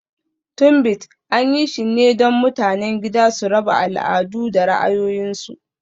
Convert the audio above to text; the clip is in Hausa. Tunbit, an yi shi ne don mutanen gida su raba al'adu da ra'ayoyinsu.